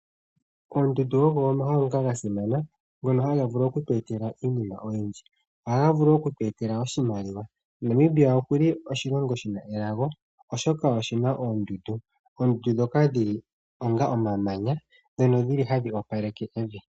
Oondundu ogo omahala ngoka ga simana, ngono haga vulu okutweetela iinima oyindji. Ohaga vulu okutweetela oshimaliwa. Namibia oku li oshilongo shi na elago, oshoka oshi na oondundu, oondundu ndhoka dhi li onga omamanya ndhono dhi li hadhi opaleke evi.